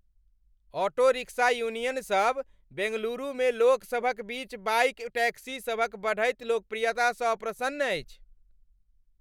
Auto rickshaw union सब बेंगलुरुमे लोकसभक बीच बाइक टैक्सीसभक बढ़ैत लोकप्रियतासँ अप्रसन्न अछि।